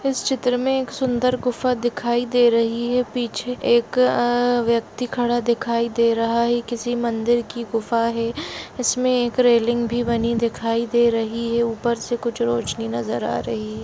इस चित्र में एक सुन्दर गुफा दिखाई दे रही है पीछे एक अ व्यक्ति खड़ा दिखाई दे रहा है किसी मन्दिर की गुफा है इसमें एक रेलिंग भी बनी दिखाई दे रही है ऊपर से कुछ रोशनी नज़र आ रही--